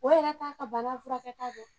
O yɛrɛ t'a ka bana furakɛta don